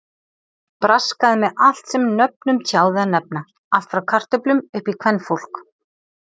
Braskaði með allt sem nöfnum tjáði að nefna, allt frá kartöflum upp í kvenfólk!